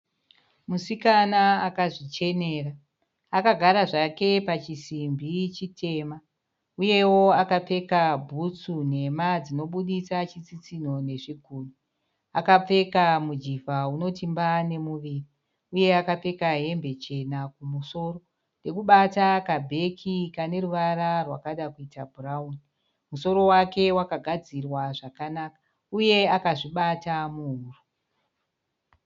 Musikana akazvichenea akagara zvake pachisimbi chitema uyewo akapfeka bhutsu nhema dzinobuditsa chitsitsinho nezvigunwe. Akapfeka mujivha unoti mba nemuviri uye akapfeka hembe chena kumusoro. Ndokubata kabheki kaneruvara rwakakada kuita bhurauni. Musoro wake wakagadzirwa zvakanaka uye akazvibata muhuro.